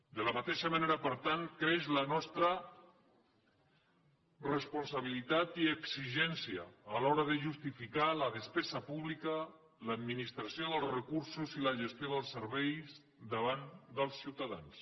de la mateixa manera per tant creix la nostra responsabilitat i exigència a l’hora de justificar la despesa pública l’administració dels recursos i la gestió dels serveis davant dels ciutadans